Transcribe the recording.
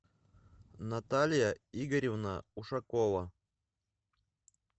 наталья игоревна ушакова